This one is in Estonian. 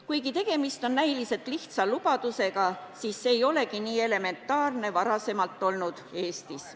Kuigi tegemist on näiliselt lihtsa lubadusega, ei olegi see varem Eestis olnud nii elementaarne.